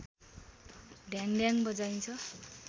ढ्याङढ्याङ बजाइन्छ